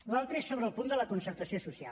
l’altre és sobre el punt de la concertació social